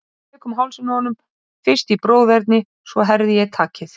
Hér á landi er nú lítið um nýmyndun efnasets annars en mýrarauða.